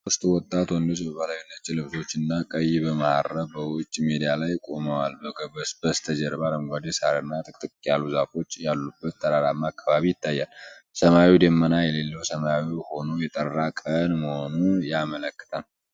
ሶስት ወጣት ወንዶች በባህላዊ ነጭ ልብሶች እና ቀይ መሐረብ በውጭ ሜዳ ላይ ቆመዋል። በስተጀርባ አረንጓዴ ሳርና ጥቅጥቅ ያሉ ዛፎች ያሉበት ተራራማ አካባቢ ይታያል። ሰማዩ ደመና የሌለው ሰማያዊ ሆኖ የጠራ ቀን መሆኑን ያመለክታል።